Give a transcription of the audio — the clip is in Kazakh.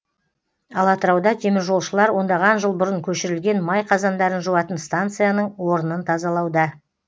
ал атырауда теміржолшылар ондаған жыл бұрын көшірілген май қазандарын жуатын стансияның орынын тазалауда